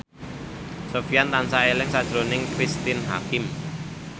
Sofyan tansah eling sakjroning Cristine Hakim